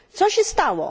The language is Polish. Co się stało?